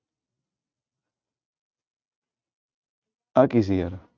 ਆ ਕੀ ਸੀ ਯਾਰ